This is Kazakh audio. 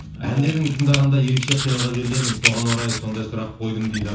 әндерін тыңдағанда ерекше қиялға берілемін соған орай сондай сұрақ қойдым дейді